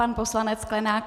Pan poslanec Sklenák.